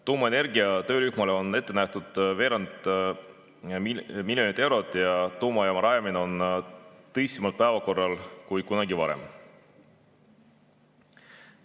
Tuumaenergia töörühmale on ette nähtud veerand miljonit eurot ja tuumajaama rajamine on nüüd tõsisemalt päevakorral kui kunagi varem.